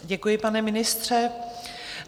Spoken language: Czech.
Děkuji, pane ministře.